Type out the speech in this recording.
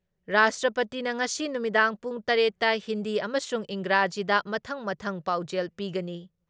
ꯔꯥꯁꯇ꯭꯭ꯔꯄꯇꯤꯅ ꯉꯁꯤ ꯅꯨꯃꯤꯗꯥꯡ ꯄꯨꯡ ꯇꯔꯦꯠ ꯇ ꯍꯤꯟꯗꯤ ꯑꯃꯁꯨꯡ ꯏꯪꯒ꯭ꯔꯥꯖꯤꯗ ꯃꯊꯪ ꯃꯊꯪ ꯄꯥꯎꯖꯦꯜ ꯄꯤꯒꯅꯤ ꯫